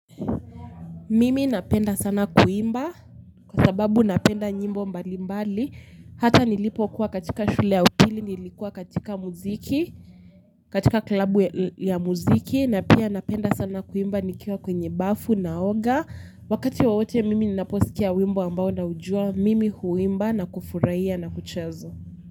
Mimi napenda sana kuimba kwa sababu napenda nyimbo mbalimbali hata nilipokuwa katika shule ya upili nilikuwa katika muziki katika klabu ya muziki na pia napenda sana kuimba nikiwa kwenye bafu naoga wakati wowote mimi ninaposkia wimbo ambao naujua mimi huimba na kufurahia na kucheza.